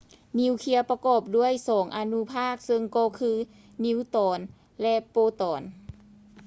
ນິວເຄຍປະກອບດ້ວຍສອງອະນຸພາກ ເຊິ່ງກໍຄື ນິວຕອນ ແລະ ໂປຣຕອນ